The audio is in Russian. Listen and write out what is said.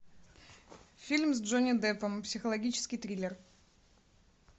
фильм с джонни деппом психологический триллер